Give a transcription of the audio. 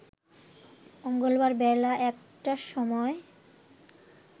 মঙ্গলবার বেলা ১টার সময়